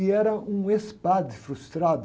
E era um ex-padre frustrado.